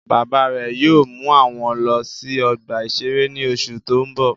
Bàbá rẹ̀ yóò mú wọn lọ sí ọgbà-ìṣeré ní oṣù tó ń bọ̀